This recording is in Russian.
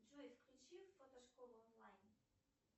джой включи фотошколу онлайн